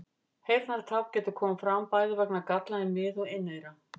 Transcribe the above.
Heyrnartap getur komið fram bæði vegna galla í mið- og inneyra.